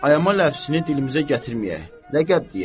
Ayama ləfzini dilimizə gətirməyək, ləqəb deyək.